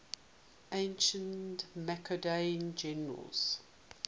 ancient macedonian generals